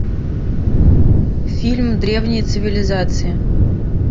фильм древние цивилизации